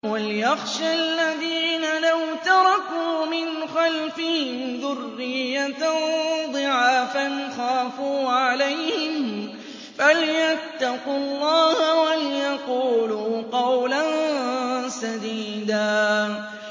وَلْيَخْشَ الَّذِينَ لَوْ تَرَكُوا مِنْ خَلْفِهِمْ ذُرِّيَّةً ضِعَافًا خَافُوا عَلَيْهِمْ فَلْيَتَّقُوا اللَّهَ وَلْيَقُولُوا قَوْلًا سَدِيدًا